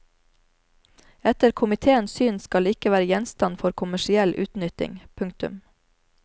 Etter komitéens syn skal det ikke være gjenstand for kommersiell utnytting. punktum